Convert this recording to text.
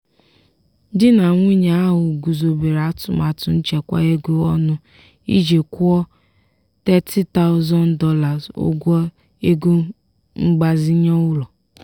di na nwunye ahụ guzobere atụmatụ nchekwa ego ọnụ iji kwụọ $30000 ụgwọ ego mgbazinye ụlọ.